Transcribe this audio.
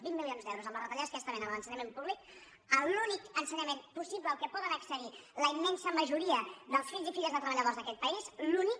vint milions d’euros amb les retallades que hi està havent a l’ensenyament públic l’únic ensenyament possible al qual poden accedir la immensa majoria dels fills i filles de treballadors d’aquest país l’únic